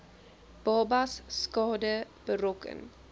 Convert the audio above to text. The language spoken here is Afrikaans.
babas skade berokken